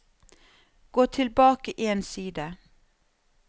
Gå tilbake én side